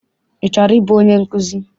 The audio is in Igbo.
Ị chọrọ ịbụ onye nkụzi?